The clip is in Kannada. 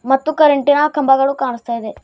ಮತ್ತು ಕರೆಂಟಿ ನ ಕಂಬಗಳು ಕಾನಸ್ತಾ ಇದೆ.